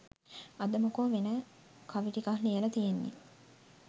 අද මොකෝ වෙන කවි ටිකක් ලියලා තියෙන්නේ